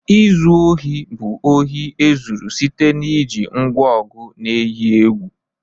Izu ohi bu ohi ezuru site n'iji ngwa ọgụ na eyi egwu.